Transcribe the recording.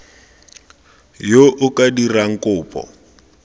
yo o ka dirang kopo